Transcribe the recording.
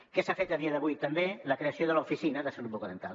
què s’ha fet a dia d’avui també la creació de l’oficina de salut bucodental